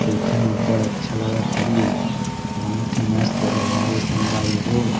देखे म अब्बड़ अच्छा लगत हवे बहुत ही मस्त जगह हवे संगवारी हो--